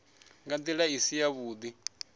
nga nḓila i si yavhuḓi